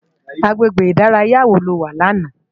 Agbégbé idàráyá wó ló wá làná?